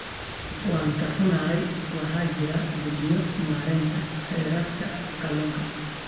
Waan ka xunnahay, waxaa jira guddiyo maareynta kheyraadka kalluunka.